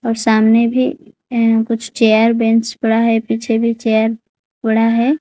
और सामने भी अह कुछ चेयर बेंच पड़ा है पीछे भी चेयर पड़ा है।